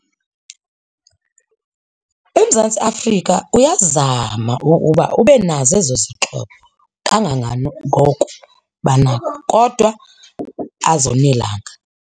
UMzantsi Afrika uyazama uba ube nazo ezo zixhobo kangakangoko banako kodwa azonelanga.